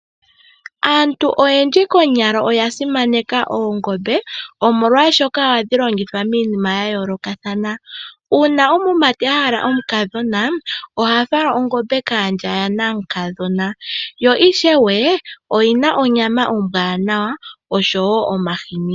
Aantu oyendji konyala oya simaneka oongombe omolwashoka ohadhi longithwa miinima ya yoolokathana. Uuna omumati ohala omukadhona oha fala ongombe kaandja yanaamukadhona yo ishewe oyi na onyama ombwanawa oshowo omahini.